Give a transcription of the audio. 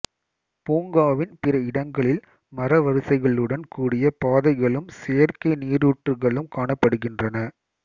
பூங்காவின் பிற இடங்களில் மர வரிசைகளுடன் கூடிய பாதைகளும் செயற்கை நீரூற்றுக்களும் காணப்படுகின்றன